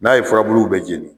N'a ye furabuluw bɛɛ jeni